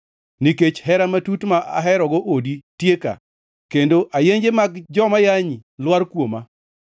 nikech hera matut ma aherogo odi tieka, kendo ayenje mag joma yanyi lwar kuoma.